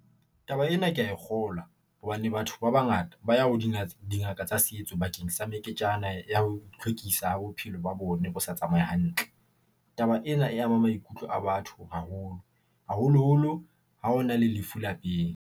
Taba ena, ke a e kgolwa hobane batho ba bangata ba ya ho dingaka tsa setso bakeng sa meketjana ya ho itlhwekisa bophelo ba bona, bo sa tsamaye hantle. Taba ena e ama maikutlo a batho haholo, haholoholo ha ho na le lefu lapeng.